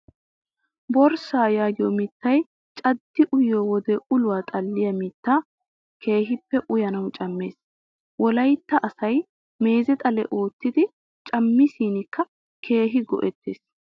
Boorissaa yaagiyoo mittayi caddi uyyiyoo wode uluwaa xalliyaa mittayi keehippe uyanawu cammes. Wolayitta asayi meeze xale oottidi cammishinkka keehi go''ettes.